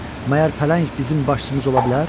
Məyər pələng bizim başçımız ola bilər?